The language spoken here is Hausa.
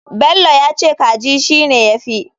Bello yace kaji shine yafi.